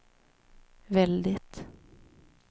väldigt